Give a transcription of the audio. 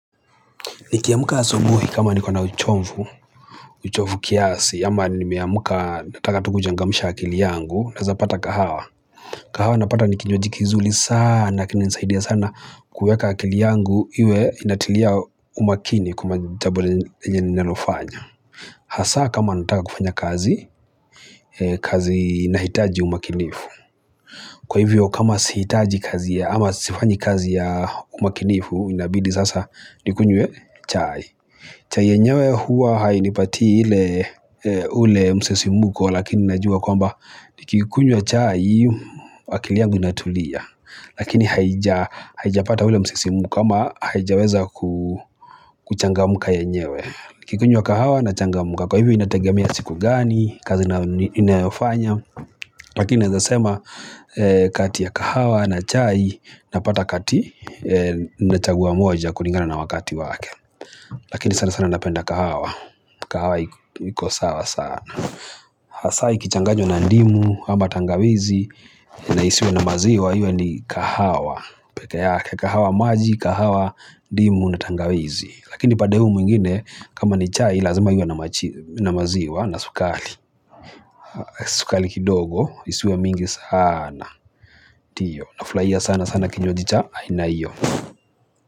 Nikiamuka asubuhi kama niko na uchomvu, uchovu kiasi, ama nimeamuka nataka tu kuchangamsha akili yangu, naeza pata kahawa. Kahawa napata nikinywaji kizuli sana, kinanisaidia sana kuweka akili yangu iwe inatilia umakini kwa majabo yenye nalofanya. Hasa kama nataka kufanya kazi, kazi nahitaji umakinifu. Kwa hivyo kama sihitaji kazi ya ama sifanyi kazi ya umakinifu, inabidi sasa nikunywe chai. Chai yenyewe huwa hainipatii hile ule msisimuko lakini najua kwamba nikikunywa chai akili yangu inatulia. Lakini haijapata ule msisimuko ama haijaweza kuchangamuka yenyewe. Nikikunywa kahawa na changamuka. Kwa hivyo inategamea siku gani, kazi ninayo fanya. Lakini naeza sema kati ya kahawa na chai napata kati nachagua moja kulingana na wakati wake. Lakini sana sana napenda kahawa kahawa iko sawa sana Hasa ikichanganywa na ndimu ama tangawizi na isiwe na maziwa Iwe ni kahawa kahawa maji, kahawa Dimu na tangawizi Lakini pade huu mwingine kama ni chai lazima iwe na maziwa na sukali Sukali kidogo isiwe mingi sana ndio, nafulaia sana sana kinywaji cha aina iyo.